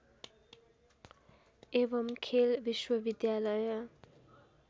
एवम् खेल विश्वविद्यालय